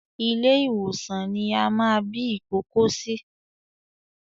Ilé ìwòsan ní a máa bí ìkókó sí